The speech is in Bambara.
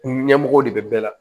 Ɲɛmɔgɔw de bɛ bɛɛ la